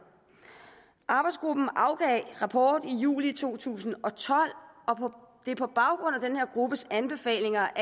arbejdsgruppen afgav rapport i juli to tusind og tolv og det er på baggrund af den her gruppes anbefalinger